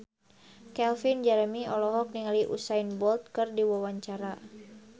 Calvin Jeremy olohok ningali Usain Bolt keur diwawancara